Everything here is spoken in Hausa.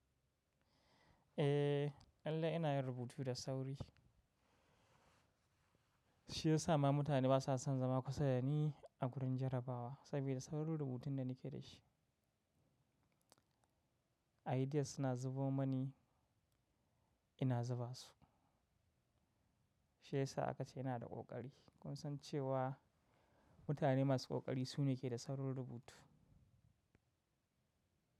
Eh, lallai ina yin rubutu da sauri. Shi yasa ma mutane basa son zama kusa da ni a gurin jarabawa sabida saurin rubutun da ni ke da shi. Ideas suna zubo mani, ina zuba su. Shi yasa aka ce ina da ƙoƙari. Kun san cewa mutane masu ƙoƙari su ne ke da saurin rubutu.